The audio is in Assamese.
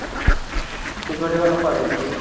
শিখৰ তিখৰ নোখোৱা কেপি চেপি?